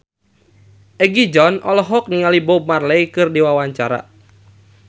Egi John olohok ningali Bob Marley keur diwawancara